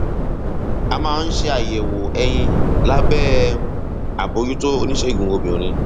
a máa ń ṣe àyẹwò ẹyin lábẹ um àbójútó oníṣègùn obìnrin